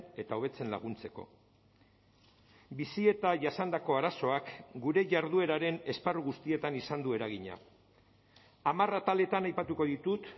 eta hobetzen laguntzeko bizi eta jasandako arazoak gure jardueraren esparru guztietan izan du eragina hamar ataletan aipatuko ditut